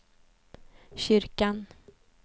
kyrkan